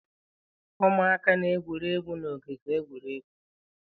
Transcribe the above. Ụmụaka na-egwuri egwu n'ogige egwuregwu.